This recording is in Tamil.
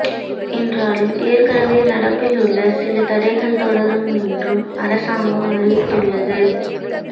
என்றாலும் ஏற்கெனவே நடப்பில் உள்ள சில தடைகள் தொடரும் என்றும் அரசாங்கம் அறிவித்து உள்ளது